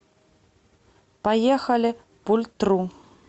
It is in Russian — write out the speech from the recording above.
поехали пультру